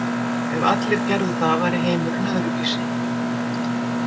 Ef allir gerðu það væri heimurinn öðruvísi.